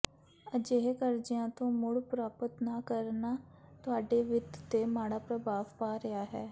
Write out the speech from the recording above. ਅਜਿਹੇ ਕਰਜ਼ਿਆਂ ਤੋਂ ਮੁੜ ਪ੍ਰਾਪਤ ਨਾ ਕਰਨਾ ਤੁਹਾਡੇ ਵਿੱਤ ਤੇ ਮਾੜਾ ਪ੍ਰਭਾਵ ਪਾ ਰਿਹਾ ਹੈ